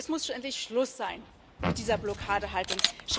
Es muss endlich Schluss sein mit dieser Blockadehaltung.